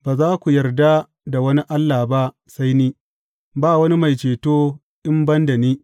Ba za ku yarda da wani Allah ba sai ni, ba wani Mai Ceto in ban da ni.